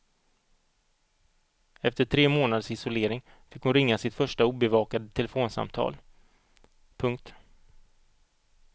Efter tre månaders isolering fick hon ringa sitt första obevakade telefonsamtal. punkt